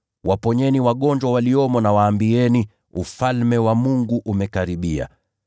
waponyeni wagonjwa waliomo na waambieni: ‘Ufalme wa Mungu umekaribia.’